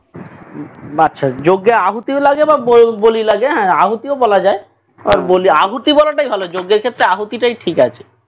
আচ্ছা যোগ্য আহুতি ও লাগে বা ব~বলি লাগে হ্যাঁ আহুতিও বলা যায় আহুতি বলাটাই ভালো যোগ্যের ক্ষেত্রে আহুতি টাই ঠিক আছে